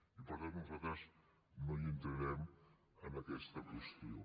i per tant nosaltres no hi entrarem en aquesta qüestió